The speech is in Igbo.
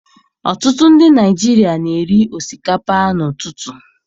Ọtụtụ ndị Naigeria na eri osikapa n'ututu